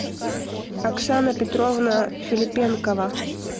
оксана петровна филипенкова